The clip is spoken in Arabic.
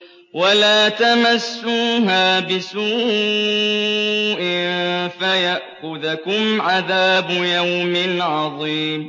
وَلَا تَمَسُّوهَا بِسُوءٍ فَيَأْخُذَكُمْ عَذَابُ يَوْمٍ عَظِيمٍ